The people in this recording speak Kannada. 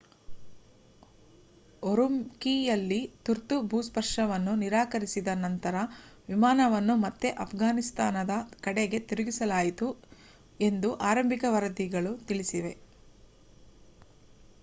ಉರುಮ್ಕೀಯಲ್ಲಿ ತುರ್ತು ಭೂಸ್ಪರ್ಶವನ್ನು ನಿರಾಕರಿಸಿದ ನಂತರ ವಿಮಾನವನ್ನು ಮತ್ತೆ ಅಫ್ಘಾನಿಸ್ತಾನದ ಕಡೆಗೆ ತಿರುಗಿಸಲಾಯಿತು ಎಂದು ಆರಂಭಿಕ ವರದಿಗಳು ತಿಳಿಸಿವೆ